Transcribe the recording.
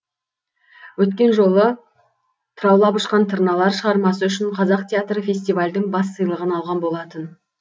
өткен жолы тыраулап ұшқан тырналар шығармасы үшін қазақ театры фестивальдің бас сыйлығын алған болатын